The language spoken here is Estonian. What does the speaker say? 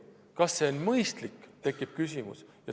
Kas see on mõistlik?